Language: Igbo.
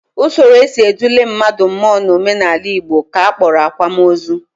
Usoro e si edula mmadụ mmụọ n'omenala Igbo ka a kpọrọ akwamozu